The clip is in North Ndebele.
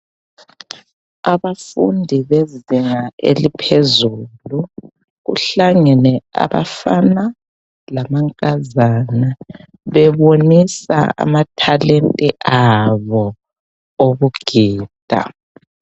Abafundi bezinga eliphezulu kuhlangene abafana lamankazana bebonisa amathalenta abo okugida.